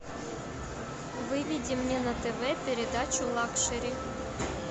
выведи мне на тв передачу лакшери